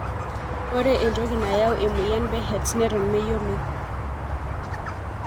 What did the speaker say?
Ore entoki nayau emoyian Behets neton meyioloi.